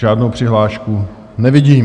Žádnou přihlášku nevidím.